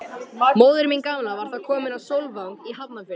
Móðir mín gamla var þá komin á Sólvang í Hafnarfirði.